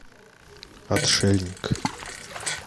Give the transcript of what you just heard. отшельник